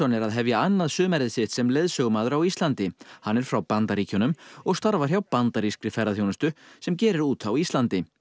er að hefja annað sumarið sitt sem leiðsögumaður á Íslandi hann er frá Bandaríkjunum og starfar hjá bandarískri ferðaþjónustu sem gerir út á Íslandi